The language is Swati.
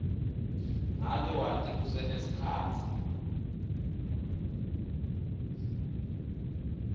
ngabe wati kusenesikhatsi